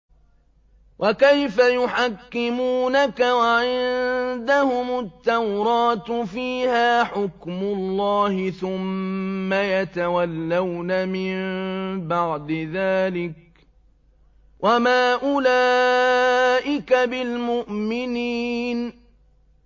وَكَيْفَ يُحَكِّمُونَكَ وَعِندَهُمُ التَّوْرَاةُ فِيهَا حُكْمُ اللَّهِ ثُمَّ يَتَوَلَّوْنَ مِن بَعْدِ ذَٰلِكَ ۚ وَمَا أُولَٰئِكَ بِالْمُؤْمِنِينَ